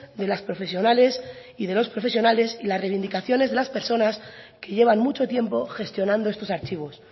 de las profesionales y de los profesionales y las reivindicaciones de las personas que llevan mucho tiempo gestionando estos archivos